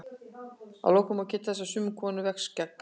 að lokum má geta þess að sumum konum vex skegg